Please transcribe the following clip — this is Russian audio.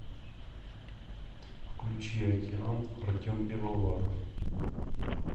включи океан артем пивоваров